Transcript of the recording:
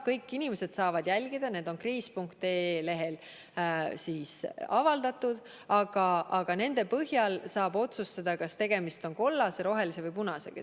Kõik inimesed saavad neid jälgida, need on kriis.ee lehel avaldatud, aga nende põhjal saab otsustada, kas tegemist on kollase, rohelise või punasega.